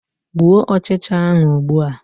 Gbuo ọchịcha ahụ ugbua!